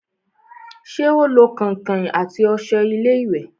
ṣé ó lo kẹ̀ǹkẹ̀ àti ọṣẹ láti wẹ̀?